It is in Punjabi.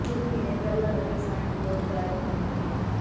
ਕੁਝ ਮਹੀਨੇ ਪਹਿਲਾਂ ਲੱਗੇ ਸਾਈਨ ਬੋਰਡ ਗਾਇਬ ਹੋਣ ਲੱਗੇ